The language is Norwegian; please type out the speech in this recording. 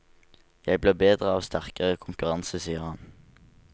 Jeg blir bedre av sterkere konkurranse, sier han.